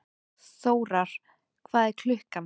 Þórar, hvað er klukkan?